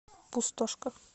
пустошка